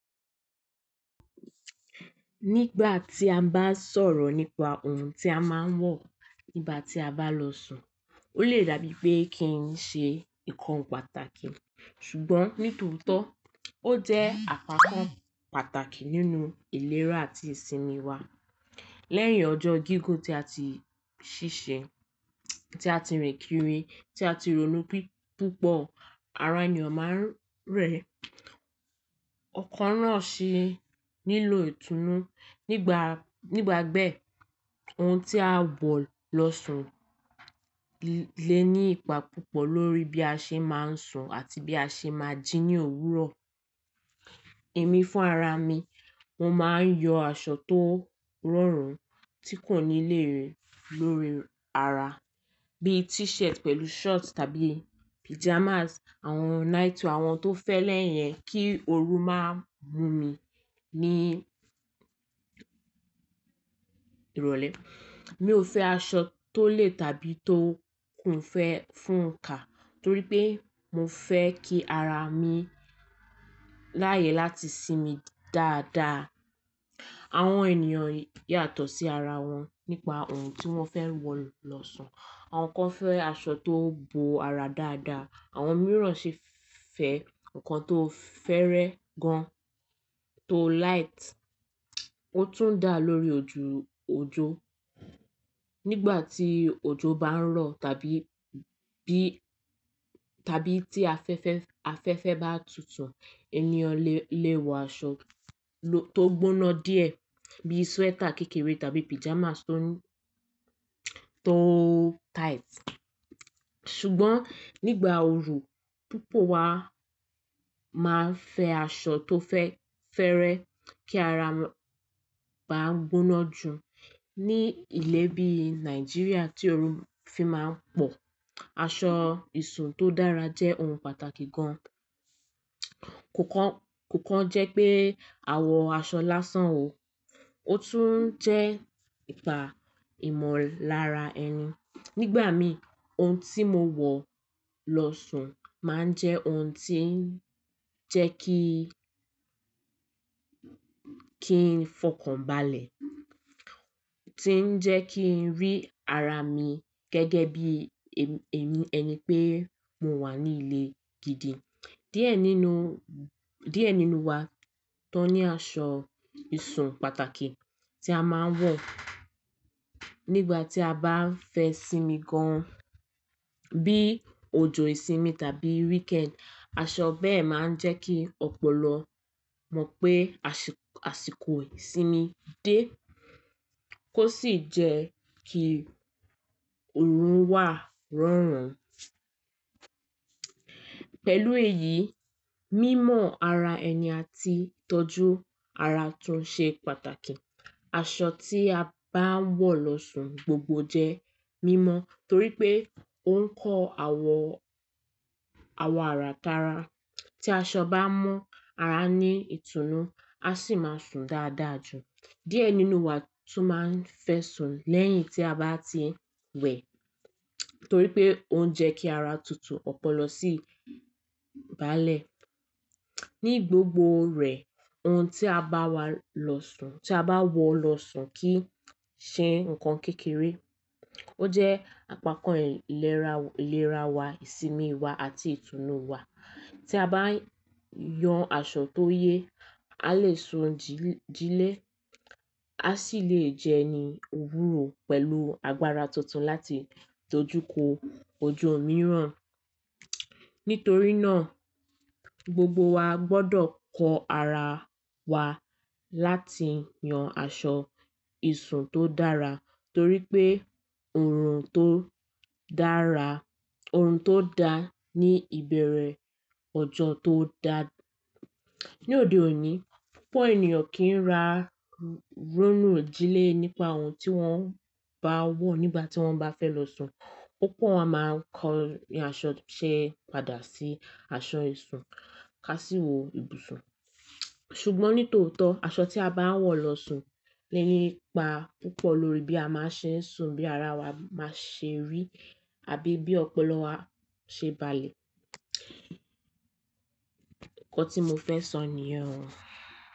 Nígbà tí a bá sọ̀rọ̀ nípa ohun tí a máa ń wọ̀ nígbà tí a bá lọ sùn, ó lè dàbí pé kí n ṣe nnkan pàtàkì. Ṣùgbọ́n nítòótọ́, ó jẹ́ àpapọ̀ pàtàkì nínú ìlera àti ìsinmi wa. Lẹ́yìn ọjọ́ gígùn tí a ti ṣiṣẹ́, tí a ti rìn kiri, tí a ti ronú púpọ̀, ara ènìyàn máa ń rẹ, ọkàn náà sì nílò ìtùnú. Nígbàgbẹ́, ohun tí a wọ̀ lọ sùn lè ní ipa púpọ̀ lórí bí a ṣe máa ń sùn àti bí a ṣe máa jí ní òwúrọ̀. Èmi fún ara mi, mo máa ń yọ aṣọ tó rọrùn tí kò níléèérí lórí ara bí i t-shirt pẹ̀lú shorts tàbí pajamas, àwọn nightwear àwọn tó fẹ́lẹ́ yẹn kí òru má mú mi ní ìrọ̀lẹ́. Mi ò fẹ́ aṣọ tó le tàbí tó kún'fẹ̀ẹ́ fún kà torí pé mo fẹ́ kí ara mi láyè láti sinmi dáadáa. Àwọn ènìyàn yàtọ̀ sí ara wọn nípa ohun tí wọ́n fẹ́ wọ̀ lọ sùn. Àwọn kan fẹ́ aṣọ tó bo ara dáadáa, àwọn mìíràn sì fẹ́ nnkan tó fẹ́rẹ́ gan-an, tó light, ó tún dà lórí ojú ojó. Nígbà tí ojo bá ń rọ̀ tàbí tàbí tí afẹ́fẹ́ bá tutu ènìyàn lè wọ aṣọ tó gbóná díẹ̀ bí i sweater kékeré tàbí pajamas tó tight. Ṣùgbọ́n nígbà ooru, púpọ̀ wa máa ń fẹ́ aṣọ tó fẹ́rẹ́ kí ara ba gbóná jù. Ní ilẹ̀ bí i Nàìjíríà tí ooru fi máa ń pọ̀, aṣọ ìsùn tó dára jẹ́ ohun pàtàkì gan-an. Kò kán jẹ́ pé àwọ̀ aṣọ lásán o, ó tún jẹ́ ipa ìmọ̀lára ẹni. Nígbà mi, ohun tí mo wọ̀ lọ sùn máa ń jẹ́ ohun tí ń jẹ́ ki kí n fọkànbalẹ̀, tí ń jẹ́ kí n rí ara mi gẹ́gẹ́ bí èmi ẹni pé mo wà nílé gidi. Díẹ̀ nínú wa tó ní aṣọ ìsùn pàtàkì tí a máa ń wọ̀ nígbà tí a bá ń fẹ́ sinmi gan-an bí i ojo ìsinmi tàbí weekend. Aṣọ bẹ́ẹ̀ máa ń jẹ́ kí ọpọlọ mọ̀ pé àsìkò ìsinmi dé kó sì jẹ́ kí òru wà rọ̀rùn. Pẹ̀lú èyí, mímọ ara ẹni àti tọ́jú ara tún ṣe pàtàkì. Aṣọ tí a bá ń wọ̀ lọ sùn gbogbo jẹ́ mímọ torí pé ó ń kọ́ àwọ̀ ara tara. Tí aṣọ bá mọ́ ara ní ìtùnú, a sì máa sùn dáadáa jù. Díẹ̀ nínú wa tún máa ń fẹ́ sùn lẹ́yìn tí a bá ti wẹ̀ torí pé ó ń jẹ́ kí ara tutù, ọpọlọ sì balẹ̀. Ní gbogbo rẹ̀, ohun tí a bá wọ̀ lọ sùn kì í ṣe nǹkan kékeré. Ó jẹ́ àpapọ̀ ìlera wa, ìsinmi wa àti ìtùnú wa. Tí a bá yàn aṣọ tó yẹ, a lè sùn jílẹ, a sì lè jẹni òwúrọ̀ pẹ̀lú agbára tuntun láti tọ́jú ko ojo mìíràn. Nítorí náà, gbogbo wa gbọ́dọ̀ kọ́ ara wa láti yàn aṣọ ìsùn tó dára torí pé ohun tó dára, ohun tó dá ní ìbẹ̀rẹ̀, ọjọ́ tó dà. Ní òde òní, púpọ̀ ènìyàn kì í ra rónú jì lé nípa ohun tí wọ́n bá wọ̀ nígbà tí wọ́n bá fẹ́ lọ sùn. Púpọ̀ wa máa ń kọ ní aṣọ ṣe padà sí aṣọ ìsùn ká sì wọ ìbùsùn. Ṣùgbọ́n nítòótọ́, aṣọ tí a bá ń wọ̀ lọ sùn lè ní ipa púpọ̀ lórí bí a máa ṣe ń sùn, bí ara wa máa ṣe rí àbí bí ọpọlọ wa ṣe balẹ̀. Ǹkan tí mo fẹ́ sọ nìyẹn o.